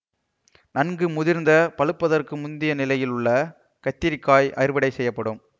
நன்கு முதிர்ந்த பழுப்பதற்கு முந்திய நிலையில் உள்ள கத்தரிக் காய் அறுவடை செய்யப்படும்